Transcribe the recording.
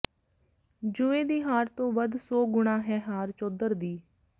ਜੂਏ ਦੀ ਹਾਰ ਤੋਂ ਵਧ ਸੌ ਗੁਣਾਂ ਹੈ ਹਾਰ ਚੌਧਰ ਦੀ